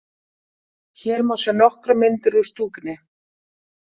Hér má sjá nokkrar myndir úr stúkunni.